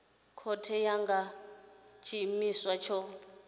khothe kana nga tshiimiswa tsho